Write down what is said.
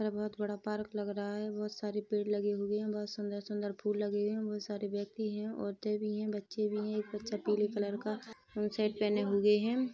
बहोत बड़ा पार्क लग रहा है बहोत सारे पेड़ लगे हुए है बहोत सुन्दर-सुन्दर फूल लगे हुए है बहोत सारे व्यक्ति है औरते भी है बच्चे भी है एक बच्चा पीले कलर का पेंट शर्ट पहने हुए है।